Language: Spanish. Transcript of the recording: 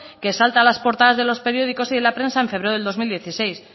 que salta a las portadas de los periódicos y de la prensa en febrero del dos mil dieciséis